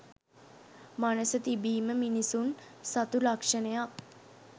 මනස තිබීම මිනිසුන් සතු ලක්‍ෂණයක්.